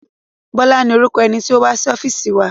Bọ́lá ni orúkọ ẹni tí ó wá sí ọ́fíìsì wa.